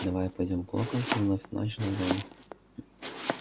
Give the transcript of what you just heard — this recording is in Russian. давай пойдём к локонсу вновь начал рон